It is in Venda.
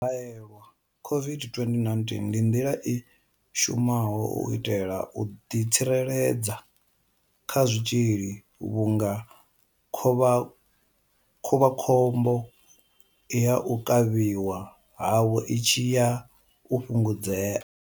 U haelelwa COVID-2019 ndi nḓila i shumaho u itela u ḓitsireledza kha tshitzhili vhunga khovhakhombo ya u kavhiwa havho i tshi ya u fhungudzea.